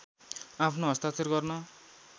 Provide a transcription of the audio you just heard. आफ्नो हस्ताक्षर गर्न